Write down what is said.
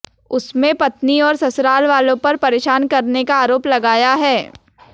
उसमें पत्नी और ससुरालवालों पर परेशान करने का आरोप लगाया है